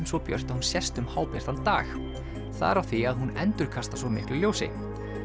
svo björt að hún sést líka um hábjartan dag það er af því að hún endurkastar svo miklu ljósi